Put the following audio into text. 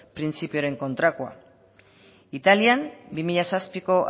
printzipioaren kontrakoa italian bi mila zazpiko